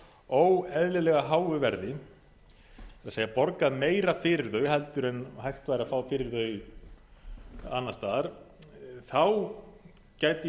óeðlilega háu verði með því að borga meira fyrir þau heldur en hægt væri að fá fyrir þau annars staðar þá gæti ég